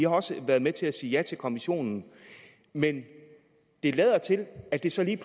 også været med til at sige ja til kommissionen men det lader til at det så lige